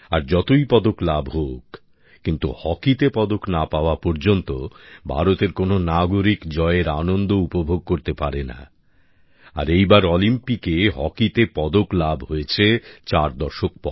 আর যতই পদক লাভ হোক কিন্তু হকিতে পদক না পাওয়া পর্যন্ত ভারতের কোন নাগরিক জয়ের আনন্দ উপভোগ করতে পারে না আর এইবার অলিম্পিকে হকিতে পদক লাভ হয়েছে চার দশক পর